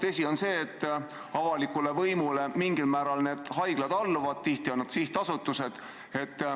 Tõsi on see, et mingil määral need haiglad alluvad avalikule võimule, tihti on need sihtasutused.